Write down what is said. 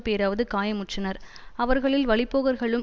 பேராவது காயமுற்றனர் அவர்களில் வழிப்போக்கர்களும்